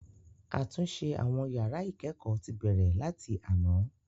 Àtúnṣe àwọn yàrá ìkẹ́kọ̀ọ́ ti bẹ̀rẹ̀ láti àná.